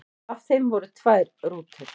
Af þeim voru tvær rútur.